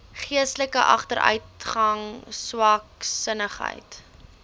geestelike agteruitgang swaksinnigheid